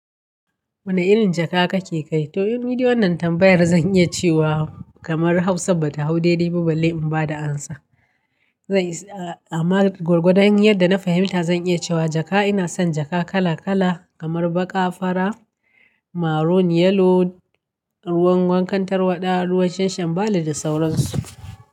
Wani irin jaka kake kai? To, ni dai wannan tambayar zan iya cewa kamar Hausa ba ta hau daidai ba, balle in ba da amsa. Zan isa, amma gwargwadan yadda na fahimta zan iya cewa jaka ina son jaka kala kala kamar baƙa, fara, maroon, yellow, ruwan wankan tarwaɗa, ruwan shanshanbala da sauransu.